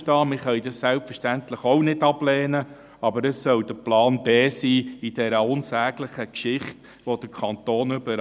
Wir können dies selbstverständlich auch nicht ablehnen, aber es soll Plan B sein in dieser unsäglichen Geschichte, in der der Kanton die